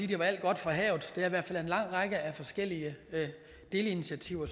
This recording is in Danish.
det er alt godt fra havet det er i hvert fald en lang række af forskellige delinitiativer